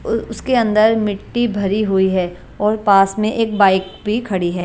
उ उसके अंदर मिट्टी भरी हुई है और पास मे एक बाइक भी खड़ी है ।